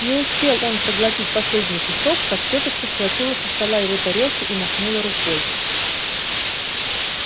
не успел он проглотить последний кусок как тётушка схватила со стола его тарелку и махнула рукой